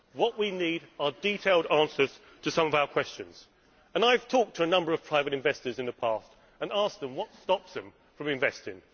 What we need are detailed answers to some of our questions, and I have talked to a number of private investors in the past and asked them what stops them from investing.